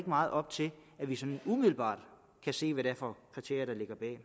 meget op til at vi sådan umiddelbart kan se hvad det er for kriterier der ligger bag